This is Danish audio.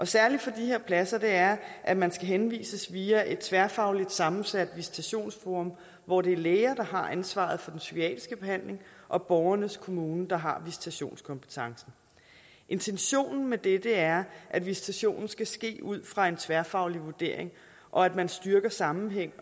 særlige for de her pladser er at man skal henvises via et tværfagligt sammensat visitationsforum hvor det er læger der har ansvaret for den psykiatriske behandling og borgernes kommune der har visitationskompetencen intentionen med det er at visitationen skal ske ud fra en tværfaglig vurdering og at man styrker sammenhæng